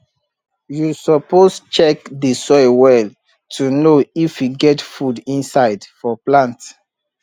you suppose check the soil well to know if e get food inside for plant